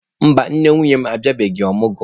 Mba, nne nwunye m abịabeghị omụgwo.